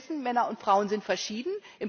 Wir wissen, Männer und Frauen sind verschieden.